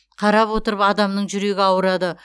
қарап отырып адамның жүрегі ауырады